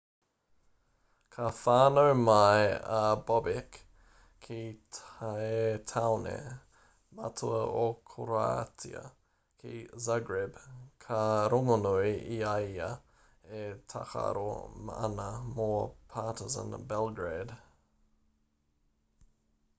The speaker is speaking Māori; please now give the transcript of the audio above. ka whānau mai a bobek ki te tāone matua o koroātia ki zagreb ka rongonui ia i a ia e tākaro ana mō partizan belgrade